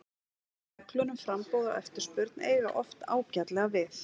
Reglur um framboð og eftirspurn eiga oft ágætlega við.